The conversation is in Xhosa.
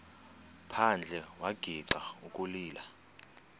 phandle wagixa ukulila